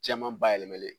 Jɛman bayɛlɛmalen